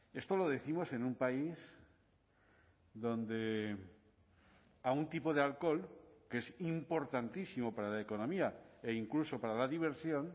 esto lo décimos en un país donde a un tipo de alcohol que es importantísimo para la economía e incluso para la diversión